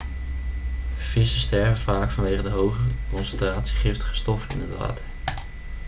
vissen sterven vaak vanwege de hoge concentratie giftige stoffen in het water